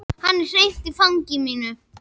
Hann er hreinn í fangi mínu.